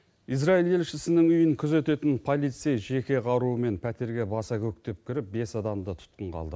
израиль елшісінің үйін күзететін полицей жеке қаруымен пәтерге баса көктеп кіріп бес адамды тұтқынға алды